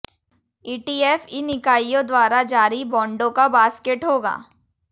ETF इन इकाइयों द्वारा जारी बॉन्डों का बॉस्केट होगा